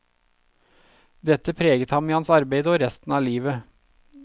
Dette preget ham i hans arbeide og resten av livet.